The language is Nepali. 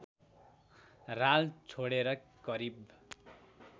राल छोडेर करिब